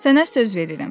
Sənə söz verirəm.